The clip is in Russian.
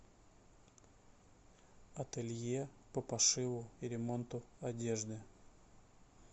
ателье по пошиву и ремонту одежды